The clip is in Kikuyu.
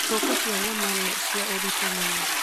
Ngũkũ cia nyama nĩ cia ũritũ mũno